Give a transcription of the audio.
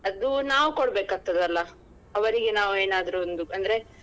ಅದು ನಾವ್ ಕೊಡಬೇಕಾಗ್ತದಲ್ಲ ಅವರಿಗೆ ನಾವ್ ಏನಾದ್ರು ಒಂದು ಅಂದ್ರೆ.